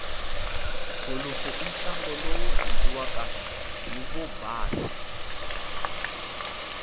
golofu intlangu lowurandziwaka hhivobhasa